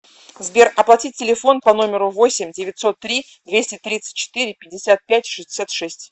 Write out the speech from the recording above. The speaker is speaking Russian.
сбер оплатить телефон по номеру восемь девятьсот три двести тридцать четыре пятьдесят пять шестьдесят шесть